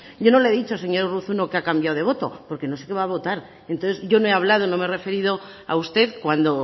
yo no le he dicho señor urruzuno que ha cambiado de voto porque no se va votar entonces yo no he hablado no me he referido a usted cuando